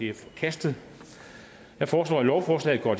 er forkastet jeg foreslår at lovforslaget går